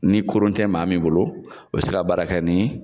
Ni kurun te maa min bolo, o be se ka baara kɛ ni